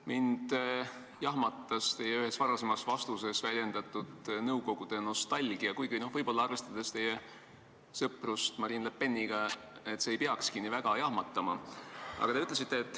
Mind jahmatas ühes teie varasemas vastuses väljendatud nõukogude nostalgia, kuigi võib-olla, arvestades teie sõprust Marine Le Peniga, ei peakski see nii väga jahmatama.